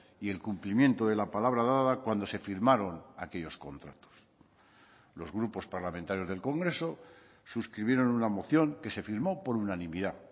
y el cumplimiento de la palabra dada cuando se firmaron aquellos contratos los grupos parlamentarios del congreso suscribieron una moción que se firmó por unanimidad